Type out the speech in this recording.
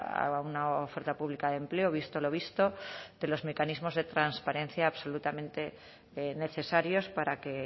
a una oferta pública de empleo visto lo visto de los mecanismos de transparencia absolutamente necesarios para que